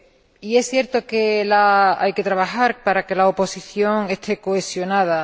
Y es cierto que hay que trabajar para que la oposición esté cohesionada.